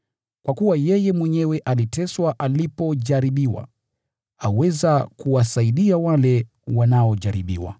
Kwa kuwa yeye mwenyewe aliteswa alipojaribiwa, aweza kuwasaidia wale wanaojaribiwa.